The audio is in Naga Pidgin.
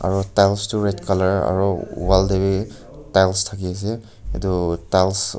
aru tyles toh red colour aru wall tae vi tyles thaki ase etu tyles.